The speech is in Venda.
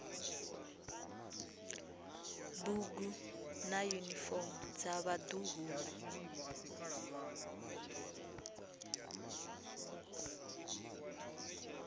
bugu na yunifomo dza vhaḓuhulu